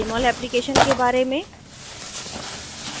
jmol application के बारे में